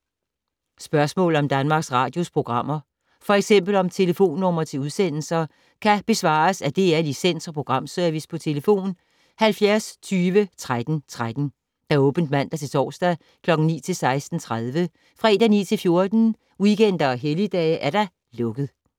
Spørgsmål om Danmarks Radios programmer, f.eks. om telefonnumre til udsendelser, kan besvares af DR Licens- og Programservice: tlf. 70 20 13 13, åbent mandag-torsdag 9.00-16.30, fredag 9.00-14.00, weekender og helligdage: lukket.